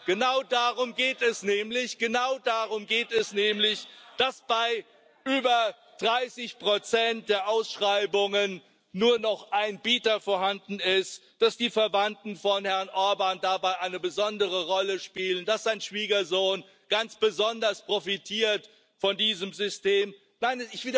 Genau darum geht es nämlich, dass bei über 30 der Ausschreibungen nur noch ein Bieter vorhanden ist, dass die Verwandten von Herrn Orbán dabei eine besondere Rolle spielen, dass sein Schwiegersohn ganz besonders von diesem System profitiert.